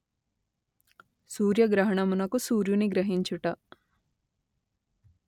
సూర్యగ్రహణమునకు సూర్యుని గ్రహించుట